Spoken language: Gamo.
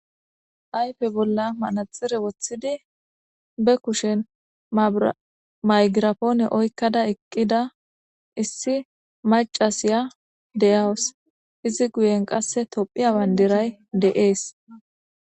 Aype bolla manaxire woththidi be kushen maygirafoone oykkada eqqida issi macasiya deyawus izi guyen qasse tophiya wanderay de7ees